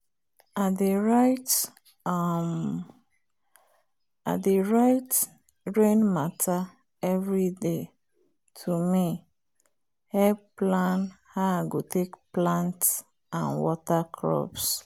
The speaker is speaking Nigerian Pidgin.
i dey write um rain matter every day to me help plan how i go take plant and water crops.